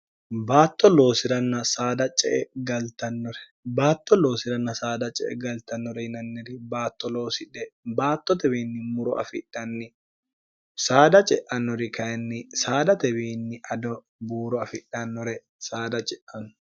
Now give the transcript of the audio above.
batto ooi'rnn d ce e galtnnore baatto loosi'ranna saada ce e galtannore yinanniri baatto loosidhe baattotewiinni muro afidhanni saada ce'annori kayinni saadatewiinni ado buuro afidhannore saada ce'anno